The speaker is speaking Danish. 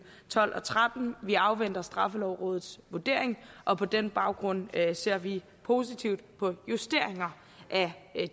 tolv og trettende vi afventer straffelovrådets vurdering og på den baggrund ser vi positivt på justeringer af